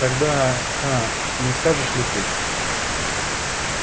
тогда гаал не скажешь ли ты